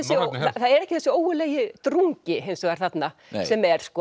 norrænni hefð það er ekki þessi ógurlegi drungi þarna sem er sko